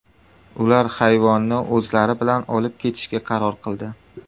Ular hayvonni o‘zlari bilan olib ketishga qaror qildi.